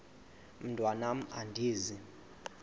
mntwan am andizi